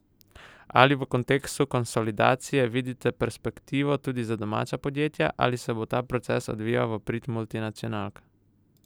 Ali v kontekstu konsolidacije vidite perspektivo tudi za domača podjetja ali se bo ta proces odvijal v prid multinacionalk?